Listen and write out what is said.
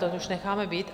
To už necháme být.